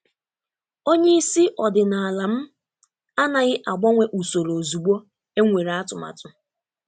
Onye isi ọdịnala m anaghị agbanwe usoro ozugbo enwere atụmatụ.